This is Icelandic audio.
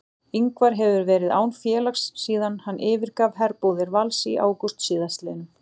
Ingvar hefur verið án félags síðan hann yfirgaf herbúðir Vals í ágúst síðastliðnum.